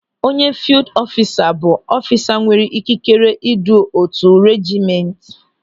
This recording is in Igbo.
Onye fiild ọfisa bụ ọfisa nwere ikikere idu otu reejiment.